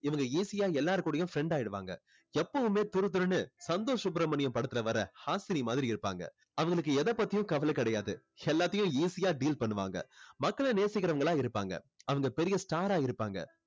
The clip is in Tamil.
இவங்க easy ஆ எல்லார் கூடயும் friend ஆகிடுவாங்க எப்போவுமே துருதுருன்னு சந்தோஷ் சுப்ரமணியம் படத்துல வர்ற ஹாஷினி மாதிரி இருப்பாங்க அவங்களுக்கு எதை பத்தியும் கவலை கிடையாது எல்லாத்தையும் easy ஆ deal பண்ணுவாங்க மக்களை நேசிக்குறவங்களா இருப்பாங்க அவங்க பெரிய star ஆ இருப்பாங்க